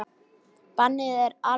Bannið er algert.